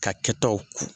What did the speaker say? Ka kɛtaw